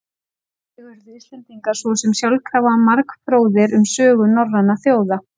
Þannig urðu Íslendingar svo sem sjálfkrafa margfróðir um sögu norrænna þjóða.